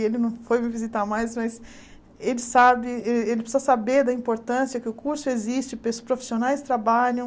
E ele não foi me visitar mais, mas ele sabe, ele ele precisa saber da importância que o curso existe, que os profissionais trabalham.